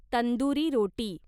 tandoori रोटी